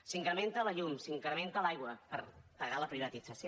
s’incrementa la llum s’incrementa l’aigua per pagar la privatització